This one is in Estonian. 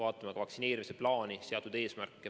Vaatame ka vaktsineerimise plaani, seatud eesmärke.